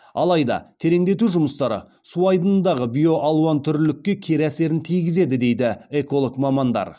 алайда тереңдету жұмыстары су айдынындағы биоалуантүрлілікке кері әсерін тигізеді дейді эколог мамандар